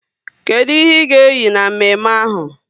Kedụ ihe ị ga eyi na mme mme ahụ?